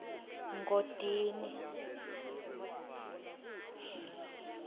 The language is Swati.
ngodini